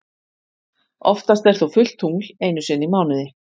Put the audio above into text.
Oftast er þó fullt tungl einu sinni í mánuði.